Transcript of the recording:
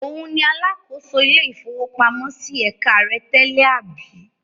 Òun ni alákòóso ilé-ìfowópamọ́sí ẹ̀ka rẹ tẹ́lẹ̀, àbí?